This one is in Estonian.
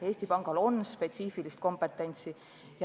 Eesti Pangal on spetsiifiline kompetents.